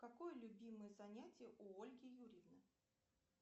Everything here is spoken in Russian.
какое любимое занятие у ольги юрьевны